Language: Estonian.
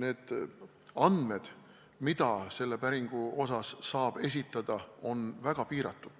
need andmed, mida selle päringu raames saab esitada, on väga piiratud.